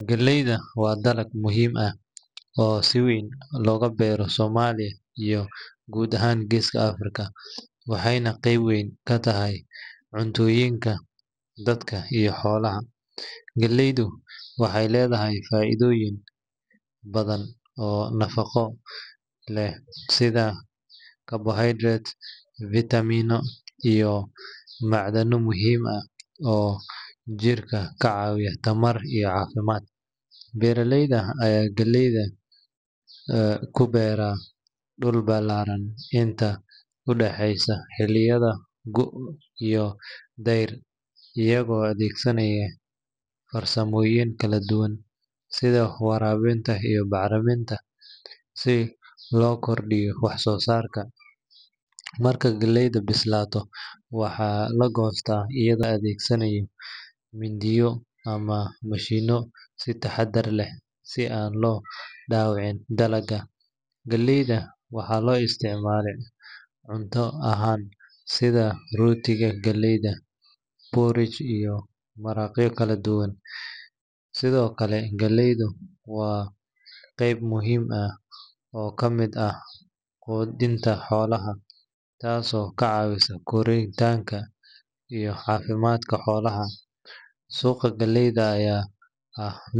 Galleyda waa dalag muhiim ah oo si weyn looga beero Soomaaliya iyo guud ahaan Geeska Afrika, waxayna qayb weyn ka tahay cuntooyinka dadka iyo xoolaha. Galleydu waxay leedahay faa’iidooyin badan oo nafaqo leh sida carbohydrates, fiitamiino, iyo macdan muhiim ah oo jirka ka caawiya tamar iyo caafimaad. Beeralayda ayaa galleyda ku beeran dhul ballaaran inta u dhexeysa xilliyada gu’ iyo dayr, iyagoo adeegsanaya farsamooyin kala duwan sida waraabinta iyo bacriminta si loo kordhiyo wax soo saarka. Marka galleydu bislaato, waxaa la goostaa iyadoo la adeegsanayo mindiyo ama mashiinno si taxaddar leh si aan loo dhaawicin dalagga. Galleyda waxaa loo isticmaalaa cunto ahaan, sida rootiga galleyda, porridge, iyo maraqyo kala duwan. Sidoo kale, galleydu waa qeyb muhiim ah oo ka mid ah quudinta xoolaha, taasoo ka caawisa korriinka iyo caafimaadka xoolaha. Suuqa galleyda ayaa ah.